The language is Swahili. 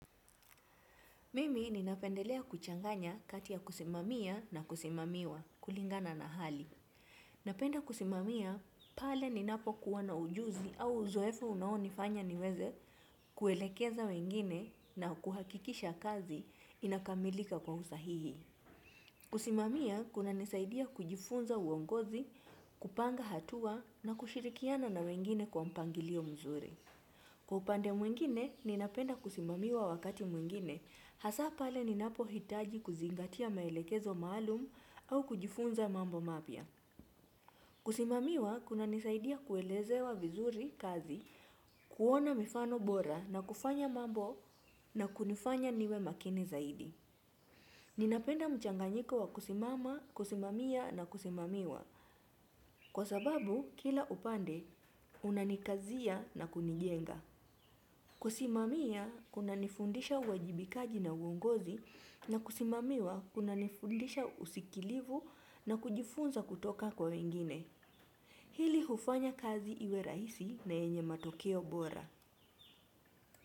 Mimi ninapendelea kuchanganya kati ya kusimamia na kusimamiwa kulingana na hali. Napenda kusimamia pale ninapokuwa na ujuzi au uzoefu unaonifanya niweze kuelekeza wengine na kuhakikisha kazi inakamilika kwa usahihi. Kusimamia kunanisaidia kujifunza uongozi, kupanga hatua na kushirikiana na wengine kwa mpangilio mzuri. Kwa upande mwengine, ninapenda kusimamiwa wakati mwingine, hasa pale ninapohitaji kuzingatia maelekezo maalum au kujifunza mambo mapya. Kusimamiwa, kunanisaidia kuelezewa vizuri kazi, kuona mifano bora na kufanya mambo na kunifanya niwe makini zaidi. Ninapenda mchanganyiko wa kusimama, kusimamia na kusimamiwa, kwa sababu kila upande, unanikazia na kunijenga. Kusimamia kunanifundisha uwajibikaji na uongozi na kusimamiwa kunanifundisha usikilivu na kujifunza kutoka kwa wengine. Hili hufanya kazi iwe rahisi na yenye matokeo bora.